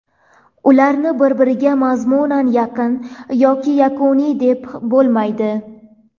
Ularni bir-biriga mazmunan yaqin yoki yakuniy deb bo‘lmaydi.